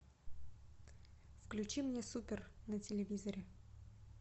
включи мне супер на телевизоре